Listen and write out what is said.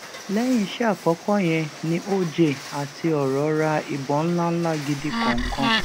lẹyìn iṣẹ àkọkọ yẹn ni oj àti ọrọ ra ìbọn ńlá ńlá gidi kọọkan